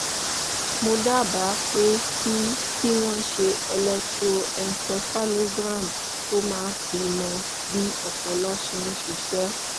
mo dábàá pé kí kí wọ́n ṣe electroencephalogram tó máa fi mọ bí ọpọlọ ṣe ń ṣiṣẹ́